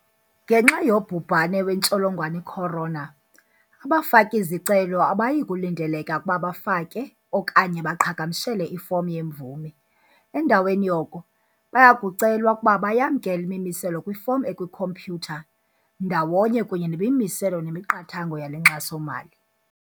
Ngenxa yobhubhane wentsholongwane i-corona, abafaki-zicelo abayikulindeleka ukuba bafake okanye baqhagamshele ifomu yemvume. Endaweni yoko, baya kucelwa ukuba bayamkele imimiselo kwifomu ekwikhompyutha, ndawonye kunye nemimiselo nemiqathango yale nkxaso-mali.